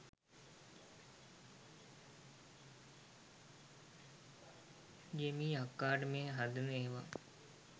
ජෙමී අක්කට මේ හදන ඒවා